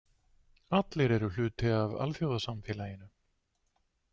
Allir eru hluti af alþjóðasamfélaginu.